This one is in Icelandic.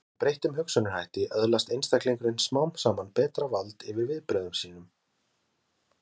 Með breyttum hugsunarhætti öðlast einstaklingurinn smám saman betra vald yfir viðbrögðum sínum.